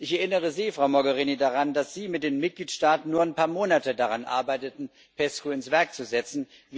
Ich erinnere Sie, Frau Mogherini, daran, dass Sie mit den Mitgliedstaaten nur ein paar Monate daran arbeiteten, PESCO ins Werk zu setzen.